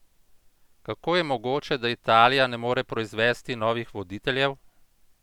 Kako je mogoče, da Italija ne more proizvesti novih voditeljev?